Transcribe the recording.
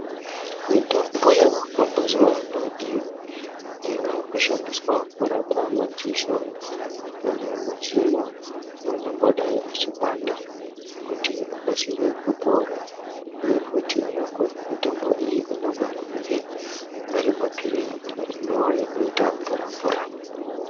Mitombo yawako mazuwano iyo yawakushandiswa kurapa madziso kana midzino angangodai achipanda kuti akasire kupora uye futi mitombo iyi inogone ngunge ari mapirizi imwe yakaite mvura mvura.